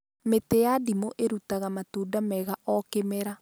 Mĩtĩ ya ndimũ ĩrutaga matunda mega o kĩmera